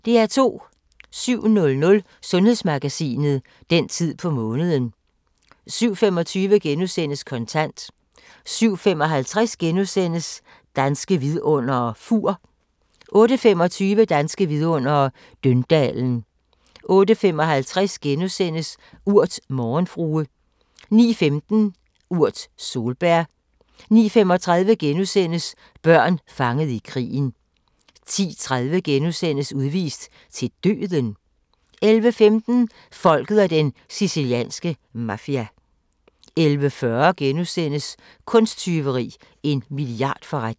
07:00: Sundhedsmagasinet: Den tid på måneden 07:25: Kontant * 07:55: Danske Vidundere: Fur * 08:25: Danske Vidundere: Døndalen 08:55: Urt: Morgenfrue * 09:15: Urt: Solbær 09:35: Børn fanget i krigen * 10:30: Udvist til døden? * 11:15: Folket og den sicilianske mafia 11:40: Kunsttyveri – en milliardforretning *